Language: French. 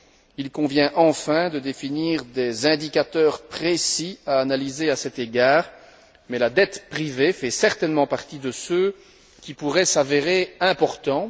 Il convient enfin de définir des indicateurs précis à analyser à cet égard, mais la dette privée fait certainement partie de ceux qui pourraient s'avérer importants.